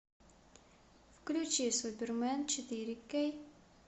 включи супермен четыре кей